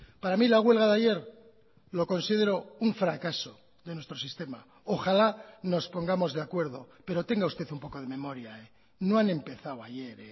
para mí la huelga de ayer lo considero un fracaso de nuestro sistema ojalá nos pongamos de acuerdo pero tenga usted un poco de memoria no han empezado ayer